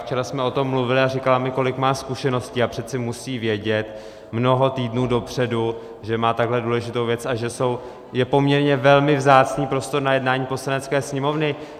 Včera jsme o tom mluvili a říkala mi, kolik má zkušeností, a přece musí vědět mnoho týdnů dopředu, že má takhle důležitou věc a že je poměrně velmi vzácný prostor na jednání Poslanecké sněmovny.